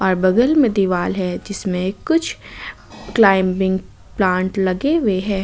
बगल में दीवाल है जिसमें कुछ क्लाइंबिंग प्लांट लगे हुए हैं।